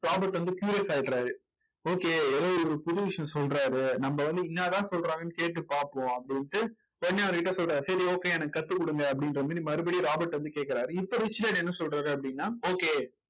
Robert வந்து curious ஆயிடுறாரு okay ஏதோ ஒரு புது விஷயம் சொல்றாரு நம்ம வந்து என்னதான் சொல்றாங்கன்னு கேட்டு பார்ப்போம் அப்படின்ட்டு உடனே அவர் கிட்ட சொல்றாரு சரி okay எனக்கு கத்து கொடுங்க அப்படின்ற மாதிரி மறுபடியும் ராபர்ட் வந்து கேக்குறாரு இப்ப ரிச்சர்ட் என்ன சொல்றாரு அப்படின்னா okay